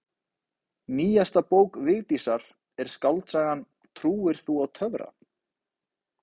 Nýjasta bók Vigdísar er skáldsagan Trúir þú á töfra?